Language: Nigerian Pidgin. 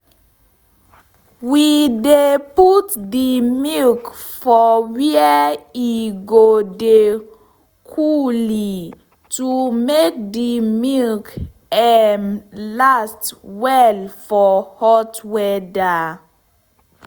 we dey put d milk for were e go dey cooley to make de milk um last well for hot weather